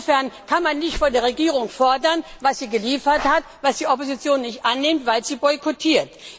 Insofern kann man nicht etwas von der Regierung fordern, was sie geliefert hat und was die Opposition nicht annimmt, weil sie boykotiert.